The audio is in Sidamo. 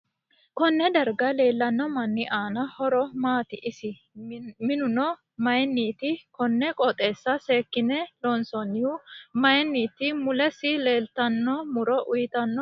Konne darga leelanno mini aano horo maati iso minoonihu mayiiniti konne qooxesa seekine loonsoonihu mayiiniti mulesi leeltanno muro uyiitano horo maati